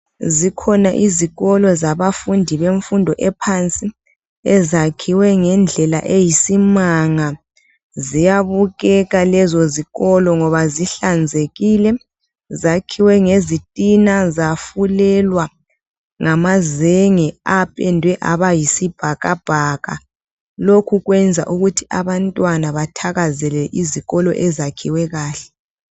Zikhona izikolo zabafundi bemfundo ephansi, ezakhiwe ngendlela eyisimanga. Ziyabukeka lezo zikolo ngoba zihlanzekile, zakhiwe ngezitina zafulelwa ngamazenge apendwe aba yisibhakabhaka. Lokhu kwenza ukuthi abantwana bathakazelele izikolo ezakhiwe kahle.